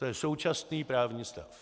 To je současný právní stav.